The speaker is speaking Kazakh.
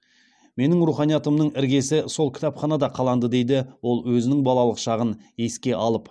менің руханиятымның іргесі сол кітапханада қаланды дейді ол өзінің балалық шағын еске алып